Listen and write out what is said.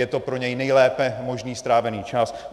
Je to pro něj nejlépe možný strávený čas.